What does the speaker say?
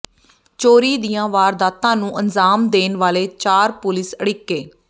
ਚੋਰੀ ਦੀਆਂ ਵਾਰਦਾਤਾਂ ਨੂੰ ਅੰਜਾਮ ਦੇਣ ਵਾਲੇ ਚਾਰ ਪੁਲਿਸ ਅੜਿੱਕੇ